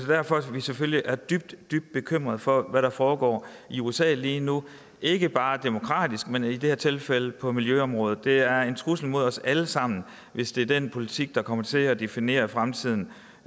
derfor vi selvfølgelig er dybt dybt bekymrede for hvad der foregår i usa lige nu ikke bare demokratisk men i det her tilfælde også på miljøområdet det er en trussel mod os alle sammen hvis det er den politik der kommer til at definere fremtiden